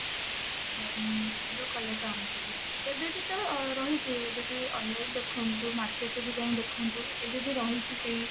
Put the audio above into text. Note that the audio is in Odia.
ଉଁ blue colour ଟା ଆଣିଥିଲି ଏବେ ବି ତ ରହିଛି ଏବେ ବି online ଦେଖନ୍ତୁ market ରେ ବି ଯାଇ ଦେଖନ୍ତୁ ଏବେ ବି ରହିଛି ସେଇ